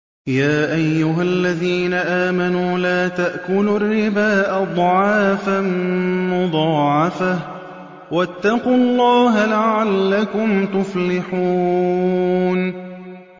يَا أَيُّهَا الَّذِينَ آمَنُوا لَا تَأْكُلُوا الرِّبَا أَضْعَافًا مُّضَاعَفَةً ۖ وَاتَّقُوا اللَّهَ لَعَلَّكُمْ تُفْلِحُونَ